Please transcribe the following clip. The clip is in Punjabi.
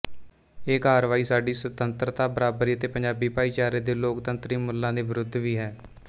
ਇਹ ਕਾਰਵਾਈ ਸਾਡੀ ਸੁਤੰਤਰਤਾ ਬਰਾਬਰੀ ਅਤੇ ਪੰਜਾਬੀ ਭਾਈਚਾਰੇ ਦੇ ਲੋਕਤੰਤਰੀ ਮੁੱਲਾਂ ਦੇ ਵਿਰੁੱਧ ਵੀ ਹੈ